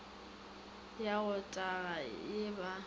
wa go taga ge ba